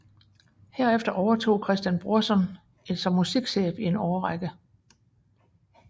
Herefter overtog Christian Brorsen som musikchef i en årrække